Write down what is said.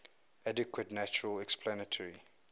adequate natural explanatory